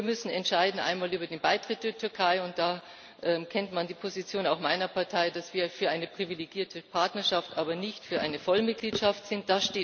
Wir müssen entscheiden einmal über den Beitritt der Türkei, und da kennt man die Position auch meiner Partei, dass wir für eine privilegierte Partnerschaft, aber nicht für eine Vollmitgliedschaft sind.